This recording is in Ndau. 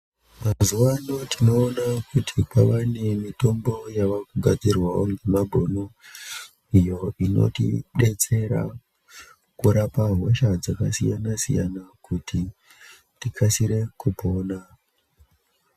Mazuva anawa tinoona kuti kwava nemitombo yavakugadzirwawo nemabhunu iyo inotidetsera kurapa hosha dzakasiyana-siyana kuti tikasire kupona.